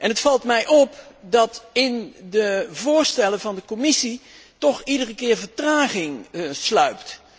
Het valt mij op dat in de voorstellen van de Commissie toch iedere keer vertraging sluipt.